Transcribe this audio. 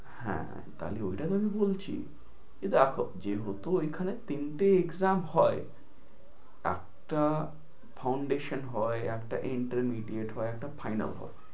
হ্যাঁ তাহলে ঐটা যদি বলছি, কি দেখো যেহেতু ঐখানে তিনটে exam হয়, একটা foundation, একটা intermediate হয়, একটা final ফাইনাল হয়।